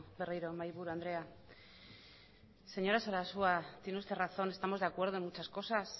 berriro mahai buru andrea señora sarasua tiene usted razón estamos de acuerdo en muchas cosas